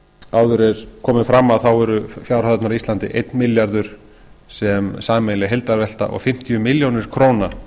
áður hefur komið fram eru fjárhæðirnar á íslandi einn milljarður sem er sameiginleg heildarvelta og fimmtíu milljónir króna